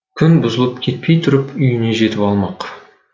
күн бұзылып кетпей тұрып үйіне жетіп алмақ